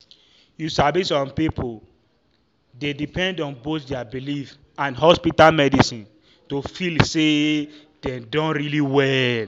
you sabi some people dey depend on both their belief and hospital medicine to feel say dem don really well.